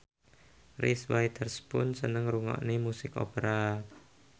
Reese Witherspoon seneng ngrungokne musik opera